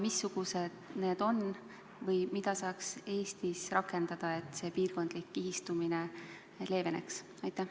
Missugused need on või mida saaks Eestis rakendada, et piirkondlik kihistumine leeveneks?